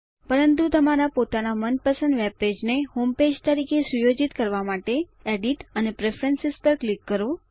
પરંતુ તમારા પોતાના મનપસંદ વેબપેજ ને હોમપેજ તરીકે સુયોજિત કરવા માટે એડિટ અને પ્રેફરન્સ પર ક્લિક કરો